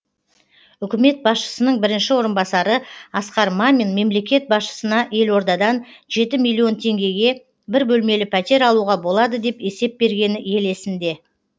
үкімет басшысының бірінші орынбасары асқар мамин мемлекет басшысына елордадан жеті миллион теңгеге бір бөлмелі пәтер алуға болады деп есеп бергені ел есінде